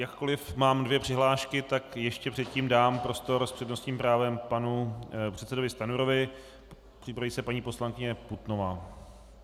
Jakkoliv mám dvě přihlášky, tak ještě předtím dám prostor s přednostním právem panu předsedovi Stanjurovi, připraví se paní poslankyně Putnová.